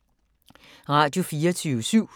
Radio24syv